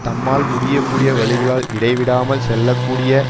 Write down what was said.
தம்மால் முடியக்கூடிய வழிகளால் இடைவிடாமல் செல்ல கூடிய